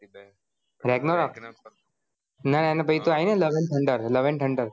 ragnarok ના ના ના પછી તો આઇ ને love and Thunder હા